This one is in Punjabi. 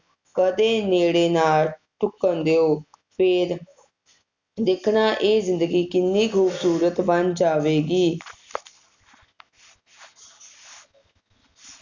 ਕਦੇ ਨੇੜੇ ਨਾ ਢੁਕਣ ਦਿਓ ਫੇਰ ਦੇਖਣਾ ਇਹ ਜਿੰਦਗੀ ਕਿੰਨੀ ਖੂਬਸੂਰਤ ਬਣ ਜਾਵੇਗੀ